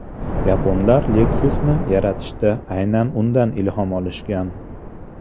Yaponlar Lexus’ni yaratishda aynan undan ilhom olishgan.